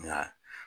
Nka